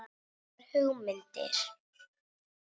Þórir átti erfiða æsku.